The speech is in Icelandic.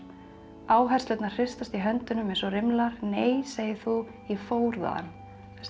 áherslurnar hristast í höndunum eins og nei segir þú ég fór þaðan þetta